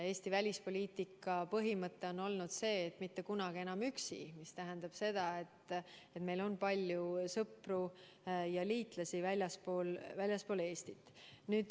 Eesti välispoliitika põhimõte on olnud see, et mitte kunagi enam üksi, mis tähendab seda, et meil on palju sõpru ja liitlasi väljaspool Eestit.